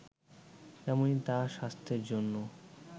তেমনি তা স্বাস্থ্যের জন্য